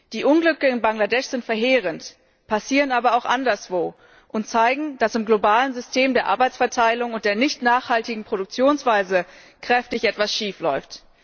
Die Unglücke in Bangladesch sind verheerend, passieren aber auch anderswo und zeigen, dass im globalen System der Arbeitsverteilung und der nicht nachhaltigen Produktionsweise etwas kräftig schiefläuft.